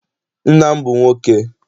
Nna m bụ nwoke.